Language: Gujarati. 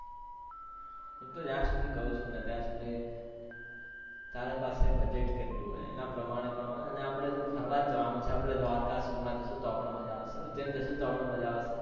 હું તો જ્યાં સુધી કઉ છુ ને ત્યાં સુધી તારા પાસે budget કેટલું હોય એના પ્રમાણે કરાય અને આપણે ફરવા જવાનું છે દ્વારકા સોમનાથ જશું તો પણ મજા આવશે ઉજ્જૈન જશું તો મજા આવશે.